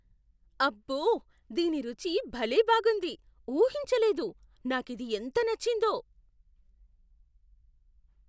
అబ్బో! దీని రుచి భలే బాగుంది, ఊహించలేదు. నాకిది ఎంత నచ్చిందో.